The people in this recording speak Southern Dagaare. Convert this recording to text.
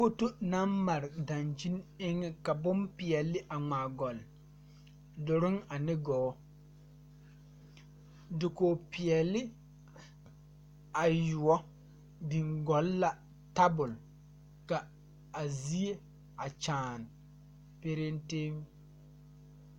Foto naŋ mare dankyini eŋɛ ka bonpeɛɛle a ngmaa gɔlle duruŋ ane gɔɔ dakoge peɛɛle ayuoɔbo biŋ gɔlle la tabol ka a zie a kyaane pereŋteŋ.